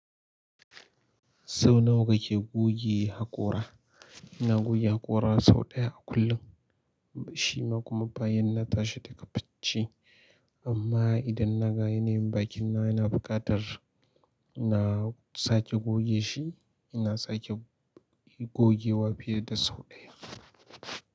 Sau nawa kake goge haƙora? ina goge haƙora sau ɗaya a kullum, shima kuma bayan na tashi daga bacci. Amma idan na ga yanayin bakin na yana buƙatar, na sake goge shi, ina sake gogewa fiye da sau ɗaya.